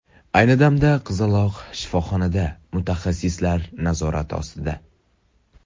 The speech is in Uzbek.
Ayni vaqtda qizaloq shifoxonada mutaxassislar nazorati ostida.